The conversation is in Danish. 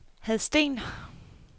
Hadsten